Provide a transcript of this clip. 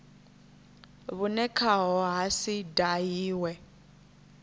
vhune khaho ha si dahiwe